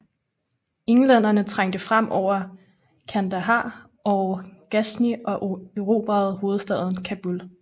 Englænderne trængte frem over Kandahar og Ghazni og erobrede hovedstaden Kabul